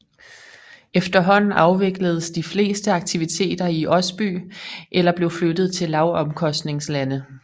Efterhånden afvikledes de fleste aktiviteter i Osby eller blev flyttet til lavomkostningslande